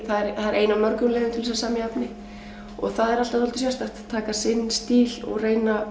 það er ein af mörgum leiðum til að semja efni og það er alltaf dálítið sérstakt að taka sinn stíl og reyna